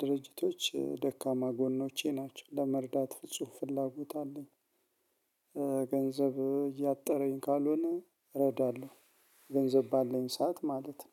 ድርጅቶች ደካማ ጎኖቼ ናቸው ለመርዳት ፍጹም ፍላጎት አለኝ። ገንዘብ እያጠረኝ ካልሆነ እረዳለሁ። ገንዘብ ባለኝ ሰዓት ማለት ነው።